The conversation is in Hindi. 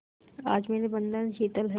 आज मेरे बंधन शिथिल हैं